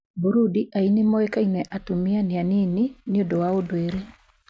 Burundi, aini moĩkaine atumia nĩ anini nĩ ũndũ wa ũndũire.